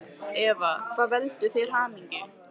Eva: Hvað veldur þér hamingju?